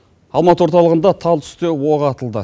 алматы орталығында тал түсте оқ атылды